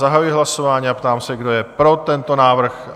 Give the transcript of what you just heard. Zahajuji hlasování a ptám se, kdo je pro tento návrh?